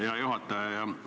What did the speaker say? Hea juhataja!